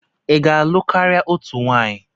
I ga-alụ karịa otu nwaanyị?